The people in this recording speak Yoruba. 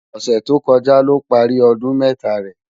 Òsè tókòjá ló pàri òdún mètá rè